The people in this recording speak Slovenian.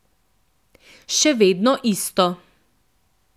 Še vedno isto.